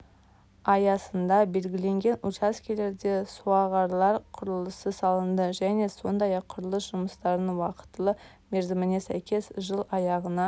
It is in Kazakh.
аясында белгіленген учаскелерде суағарлар құрылысы салынды және сондай-ақ құрылыс жұмыстарының уақытылы мерзіміне сәйкес жыл аяғына